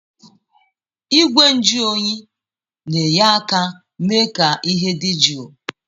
Igwe njụ oyi na-enye aka mee ka ihe dị jụụ.